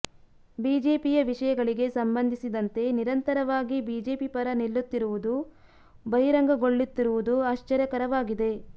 ಬಿಜೆಪಿಯ ವಿಷಯಗಳಿಗೆ ಸಂಬಂಧಿಸಿದಂತೆ ನಿರಂತರವಾಗಿ ಬಿಜೆಪಿ ಪರ ನಿಲ್ಲುತ್ತಿರುವುದು ಬಹಿರಂಗಗೊಳ್ಳುತ್ತಿರುವುದು ಆಶ್ಚರ್ಯಕರವಾಗಿದೆ